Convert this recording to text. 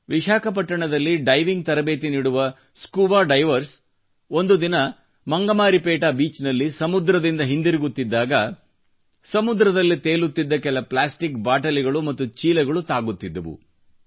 ವಿಶಾಖಪಟ್ಟಣದಲ್ಲಿ diving ತರಬೇತಿ ನೀಡುವ scuba divers ಒಂದು ದಿನ ಮಂಗಮರಿಪೇಟಾ ಬೀಚ್ ನಲ್ಲಿ ಸಮುದ್ರದಿಂದ ಹಿಂದಿರುಗುತ್ತಿದ್ದಾಗ ಸಮುದ್ರದಲ್ಲಿ ತೇಲುತ್ತಿದ್ದ ಕೆಲ ಪ್ಲಾಸ್ಟಿಕ್ ಬಾಟಲಿಗಳು ಮತ್ತು ಚೀಲಗಳು ತಾಗುತ್ತಿದ್ದವು